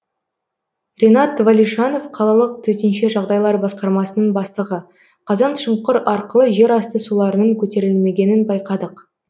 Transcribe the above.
ренат валишанов қалалық төтенше жағдайлар басқармасының бастығы қазаншұңқыр арқылы жерасты суларының көтерілмегенін байқадық